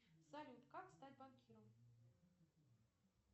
салют как стать банкиром